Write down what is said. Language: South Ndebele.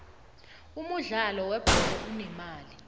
umudlalo we bholo unemali